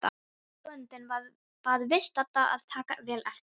Bóndinn bað viðstadda að taka vel eftir.